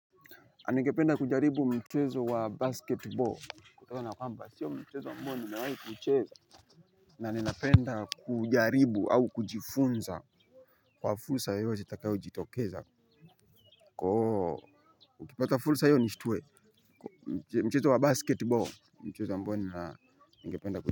Ningependa kujaribu mchezo wa basket ball kutena kwamba sio mchezo ambao nimewahi kuucheza. Na nina penda kujaribu au kujifunza. Kwa fulsa yeyote itakayo jitokeza Koo Ukipata fulsa iyo nishtue mchezo wa basket ball ni mchezo ambao nina ningependa ku.